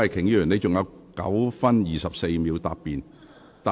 李慧琼議員，你還有9分24秒答辯。